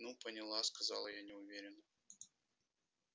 ну поняла сказала я неуверенно